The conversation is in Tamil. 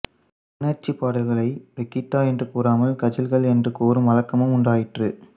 உணர்ச்சிப் பாடல்களை ரீக்தா என்று கூறாமல் கஜல்கள் என்று கூறும் வழக்கமும் உண்டாயிற்று